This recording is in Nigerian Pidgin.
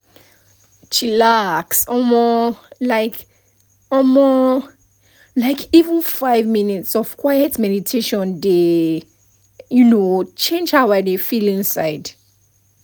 chilax um — like um — like even five minutes of quiet meditation dey um change how i dey feel inside